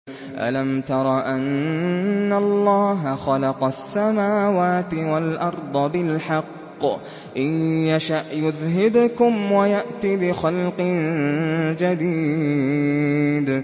أَلَمْ تَرَ أَنَّ اللَّهَ خَلَقَ السَّمَاوَاتِ وَالْأَرْضَ بِالْحَقِّ ۚ إِن يَشَأْ يُذْهِبْكُمْ وَيَأْتِ بِخَلْقٍ جَدِيدٍ